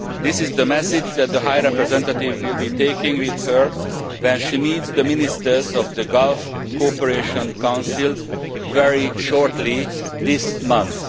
This is the message that the High Representative will be taking with her when she meets the ministers of the Gulf Cooperation Council very shortly this month.